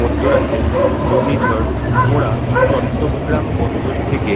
মধ্যরাতে ঘূর্ণিঝড় মোরা চট্টগ্রাম বন্দর থেকে